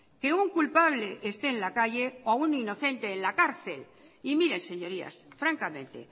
que un culpable esté en la calle o un inocente en la cárcel y miren señorías francamente